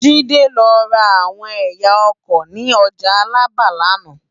Jide lò rá áwòn èyá àrá òkò ni òjá Alaba làná